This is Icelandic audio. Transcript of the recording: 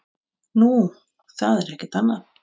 Nú, það er ekkert annað.